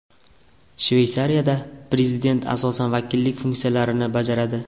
Shveysariyada prezident asosan vakillik funksiyalarini bajaradi.